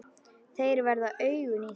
Þeir verða augun í þér.